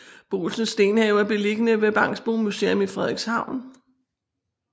Boolsens Stenhave er beliggende ved Bangsbo Museum i Frederikshavn